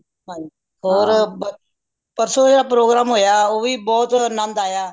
ਹੰ ਹੋਰ ਪਰਸੋ ਜੇੜਾ program ਹੋਇਆ ਉਹ ਵੀ ਬਹੁਤ ਆਨੰਦ ਆਯਾ